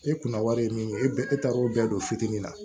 E kunna wari ye min ye e taara o bɛɛ don fitinin na